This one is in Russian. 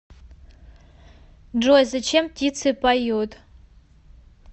джой зачем птицы поют